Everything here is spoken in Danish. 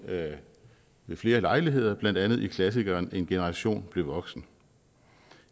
ved flere lejligheder blandt andet i klassikeren en generation blev voksen